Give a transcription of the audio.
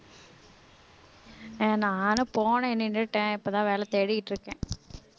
ஆஹ் நானும் போனேன் நின்னுட்டேன் இப்பதான் வேலை தேடிட்டு இருக்கேன்